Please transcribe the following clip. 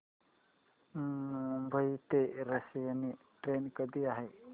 मुंबई ते रसायनी ट्रेन कधी आहे